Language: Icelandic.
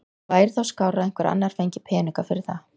Það væri þá skárra að einhver annar fengi peninga fyrir það.